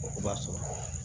O b'a sɔrɔ